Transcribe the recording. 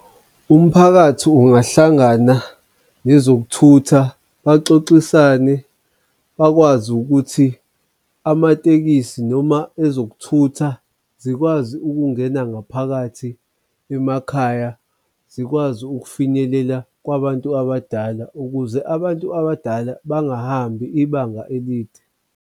Umphakathi ungahlangana nezokuthutha baxoxisane bakwazi ukuthi amatekisi noma ezokuthutha zikwazi ukungena ngaphakathi emakhaya, zikwazi ukufinyelela kwabantu abadala ukuze abantu abadala bangahambi ibanga elide.